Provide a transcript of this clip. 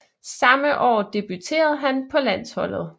Samme år debuterede han på landsholdet